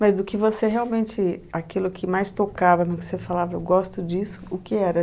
Mas do que você realmente, aquilo que mais tocava, no que você falava, eu gosto disso, o que era?